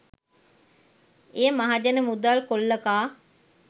එය මහජන මුදල් කොල්ල කා